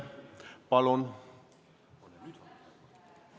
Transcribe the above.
Palun!